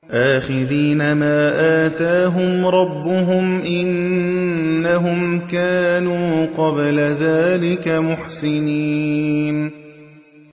آخِذِينَ مَا آتَاهُمْ رَبُّهُمْ ۚ إِنَّهُمْ كَانُوا قَبْلَ ذَٰلِكَ مُحْسِنِينَ